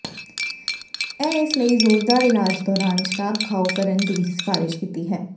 ਇਹ ਇਸ ਲਈ ਜ਼ੋਰਦਾਰ ਇਲਾਜ ਦੌਰਾਨ ਸ਼ਰਾਬ ਖਾਓ ਕਰਨ ਦੀ ਸਿਫਾਰਸ਼ ਕੀਤੀ ਹੈ